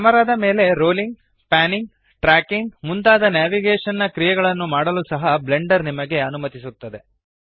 ಕ್ಯಾಮೆರಾದ ಮೇಲೆ rolling panning tracking ಮುಂತಾದ navigation ನ ಕ್ರಿಯೆಗಳನ್ನು ಮಾಡಲು ಸಹ ಬ್ಲೆಂಡರ್ ನಿಮಗೆ ಅನುಮತಿಸುತ್ತದೆ